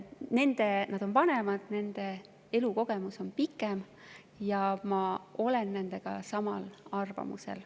Nad olid ja on vanemad, nende elukogemus oli ja on pikem ja ma olen nendega samal arvamusel.